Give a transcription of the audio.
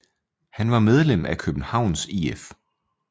Han var medlem af Københavns IF